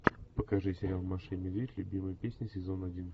покажи сериал маша и медведь любимые песни сезон один